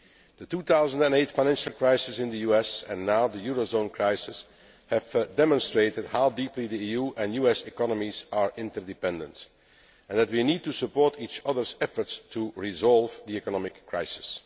The 2008 financial crisis in the US, and now the eurozone crisis, have demonstrated how deeply the EU and US economies are interdependent, and that we need to support each others' efforts to resolve the economic crisis.